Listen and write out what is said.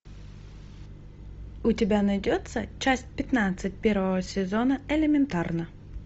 у тебя найдется часть пятнадцать первого сезона элементарно